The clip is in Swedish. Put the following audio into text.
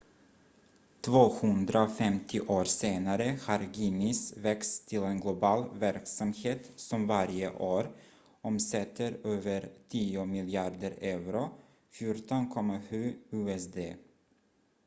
250 år senare har guinness växt till en global verksamhet som varje år omsätter över tio miljarder euro 14,7 miljarder usd